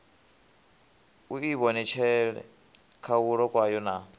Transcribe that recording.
u ivhonetshela khahulo kwayo na